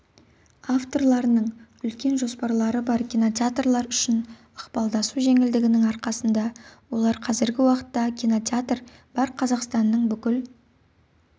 авторларының үлкен жоспарлары бар кинотеатрлар үшін ықпалдасу жеңілдігінің арқасында олар қазіргі уақытта кинотеатр бар қазақстанстанның бүкіл